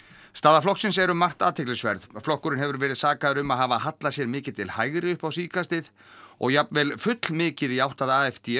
staða flokksins er um margt athyglisverð flokkurinn hefur verið sakaður um að hafa hallað sér mikið til hægri upp á síðkastið og jafnvel fullmikið í átt að